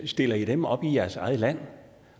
stiller i dem op i jeres eget land